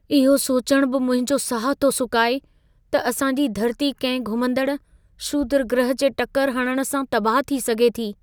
इहो सोचणु बि मुंहिंजो साहु थो सुकाए त असांजी धरती कंहिं घुमंदड़ु क्षुद्रग्रह जे टकरु हणणु सां तबाह थी सघे थी।